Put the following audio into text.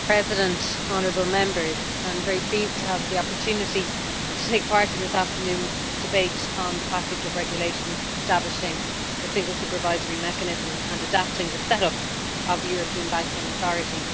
Madam President, I am very pleased to have the opportunity to take part in this afternoon's debate on the package of regulations establishing the Single Supervisory Mechanism and adapting the set up of the European Banking Authority.